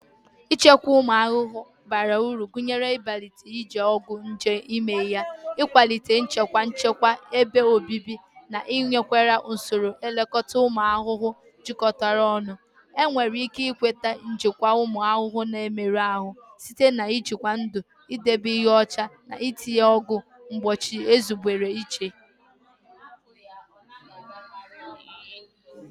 Ichekwa ụmụ ahụhụ bara uru gụnyere ibelata iji ọgwụ nje eme ihe, ịkwalite nchekwa nchekwa ebe obibi, na ịnakwere usoro nlekọta ụmụ ahụhụ jikọtara ọnụ. Enwere ike nweta njikwa ụmụ ahụhụ na-emerụ ahụ site na njikwa ndu, idebe ihe ọcha, na itinye ọgwụ mgbochi ezubere iche.